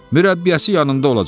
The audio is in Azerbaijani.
Mürəbbiyəsi yanında olacaq.